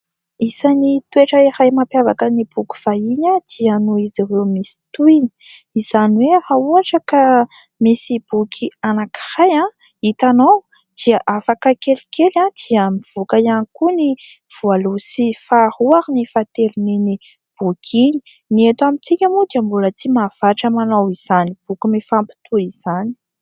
Isan'ny toetra iray mampiavaka ny boky vahiny dia noho izy ireo misy tohiny. Izany hoe raha ohatra ka misy boky anankiray hitanao dia afaka kelikely dia mivoaka ihany koa ny voalohany sy faharoa ary ny fahatelon'iny boky iny. Ny eto amintsika moa dia mbola tsy mahavatra manao izany boky mifampitohy izany.